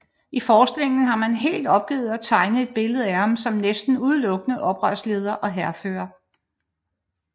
I forskningen har man helt opgivet at tegne et billede af ham som næsten udelukkende oprørsleder og hærfører